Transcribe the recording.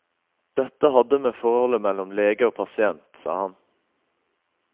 Dette hadde med forholdet mellom lege og pasient, sa han.